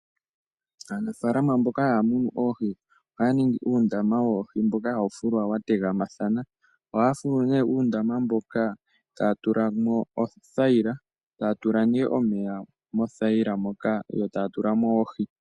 Aanafaalama mboka haya munu oohi, ohaya ningi uundama woohi mboka hawu fulwa wa tegama thana. Ohaya fulu nee uundama mboka taya tula mo othayila, taya tula nee omeya mo thayila moka yo taya tula mo oohi.